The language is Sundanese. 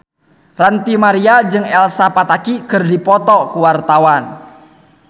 Ranty Maria jeung Elsa Pataky keur dipoto ku wartawan